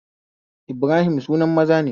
Ibrahim suna maza ne